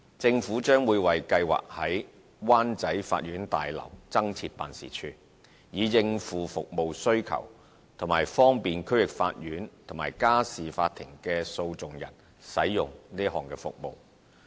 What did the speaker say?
政府將會為計劃在灣仔法院大樓增設辦事處，以應付服務需求及方便區域法院和家事法庭的訴訟人使用這項服務。